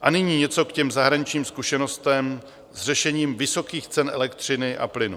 A nyní něco k těm zahraničním zkušenostem s řešením vysokých cen elektřiny a plynu.